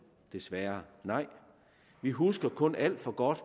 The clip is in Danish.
desværre nej vi husker kun alt for godt